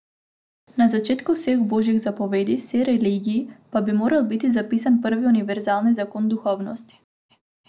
Na začetku vseh božjih zapovedi vseh religij pa bi moral biti zapisan prvi univerzalni zakon duhovnosti.